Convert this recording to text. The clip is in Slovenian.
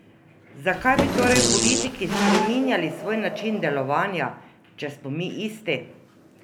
Zakaj bi torej politiki spreminjali svoj način delovanja, če smo mi isti?